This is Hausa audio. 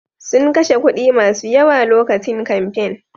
Sun kashe kuɗi masu yawa lokacin kamfen.